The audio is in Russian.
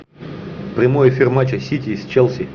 прямой эфир матча сити с челси